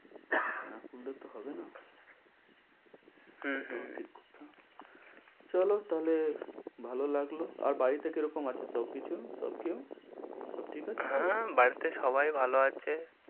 না করলে তো হবে না হম সব ঠিক করতে হবে। চলো তাহলে ভালো লাগলো, আর বাড়িতে কিরকম আছে সবকিছু সবকেউ সব ঠিক আছে তো? হ্যাঁ বাড়িতে সবাই ভালো আছে।